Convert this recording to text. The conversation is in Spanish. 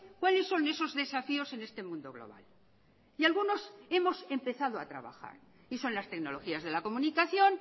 cuales son esos desafíos en este mundo global y algunos hemos empezado a trabajar y son las tecnologías de la comunicación